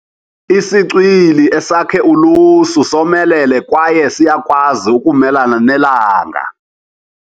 Isicwili esakhe ulusu somelele kwaye siyakwazi ukumelana nelanga.